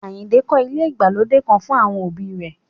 Àyìnkẹ́ kọ́ ilé ìgbàlódé kan fún àwọn òbí rẹ̀